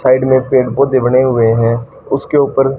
side में पेड़ पौधे बने हुए हैं उसके ऊपर--